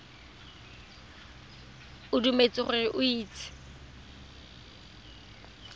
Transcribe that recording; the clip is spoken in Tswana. o dumetse gore o itse